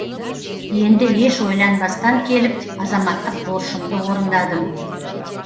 енді еш ойланбастан келіп азаматтық борышымды орындадым